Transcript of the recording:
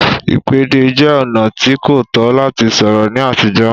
Ìpèdè jẹ́ ọ̀nà tí kò tọ́ láti sọ̀rọ̀ ní àtijọ́